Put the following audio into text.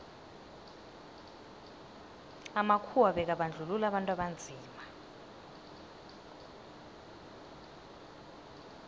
amakhuwa bekabandluua abantu abanzima